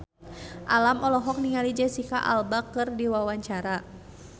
Alam olohok ningali Jesicca Alba keur diwawancara